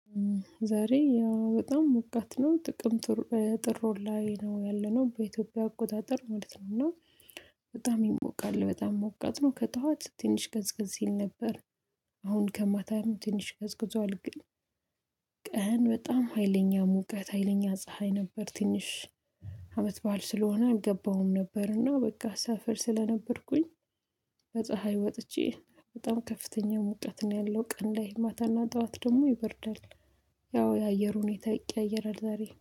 ዛሬ ያው በጣም ሞቃት ነው ጥቅምት ጥር ወር ላይ ነው ያለነው በኢትዮጵያ አቆጣጠር ማለት ነው። እና በጣም ይሞቃል በጣም ሞቃት ነው ከጠዋት ትንሽ ቀዝቀዝ ይል ነበር። አሁን ከማታም ትንሽ ቀዝቅዟል። ግን ቀን በጣም ሀይለኛ ሙቀት ሀይለኛ ፀሀይ ነበር። ትንሽ አመት በዓል ስለሆነ አልገባሁም ነበርና በቃ ሰፈር ስለነበርኩኝ። በፀሀይ ወጥቼ በጣም ከፍተኛ ሙቀት ነው ያለው ቀን ላይ ማታና ጠዋት ደግሞ ይበርዳል። ያው የአየር ሁኔታ ይቀያየራል ዛሬ